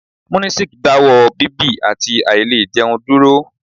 Munisik dáwọ́ ọ bíbì àti àìlẹ̀ jẹun dúró.